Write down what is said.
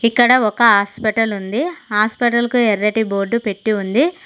ఇక్కడ ఒక ఆస్పిటలుంది ఆస్పిటల్ కు ఎర్రటి బోర్డు పెట్టి ఉంది.